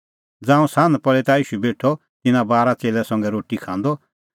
ज़ांऊं सान्ह पल़ी ता ईशू बेठअ तिन्नां बारा च़ेल्लै संघै रोटी खांदअ